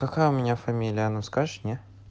какая у меня фамилия она скажешь не